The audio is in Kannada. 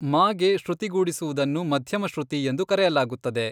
ಮ' ಗೆ ಶ್ರುತಿಗೂಡಿಸುವುದನ್ನು ಮಧ್ಯಮ ಶ್ರುತಿ ಎಂದು ಕರೆಯಲಾಗುತ್ತದೆ.